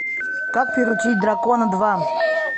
как приручить дракона два